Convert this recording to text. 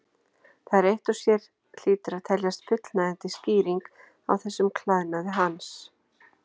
Það eitt og sér hlýtur að teljast fullnægjandi skýring á þessum klæðnaði hans.